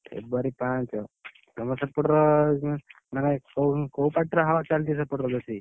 February ପାଞ୍ଚ, ତମର ସେପଟର, ମାନେ କୋଉ କୋଉ party ର Hindi ଚାଲିଚି ସେଇପଟରେ ବେଶୀ?